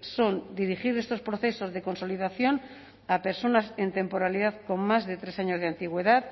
son dirigir estos procesos de consolidación a personas en temporalidad con más de tres años de antigüedad